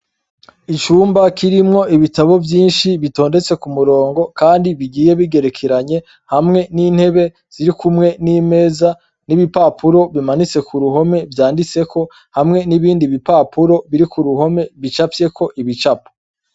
Icumba kirimwo ibitabo vyinshi bitondetse ku murongo, kandi bigiye bigerekeranye hamwe n'intebe ziri kumwe n'imeza n'ibipapuro bimanitse ku ruhome vyanditseko hamwe n'ibindi bipapuro biri ku ruhome bicapyeko ibicapo.